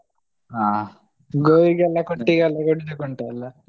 ಹ ಗೋವಿಗೆಲ್ಲ ಕೊಟ್ಟಿಗೆ ಎಲ್ಲ ಕೊಡ್ಲಿಕ್ಕೆ ಉಂಟಲ್ಲಾ.